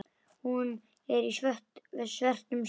Hún er í svörtum sokkum.